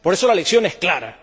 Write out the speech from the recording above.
Por eso, la lección es clara.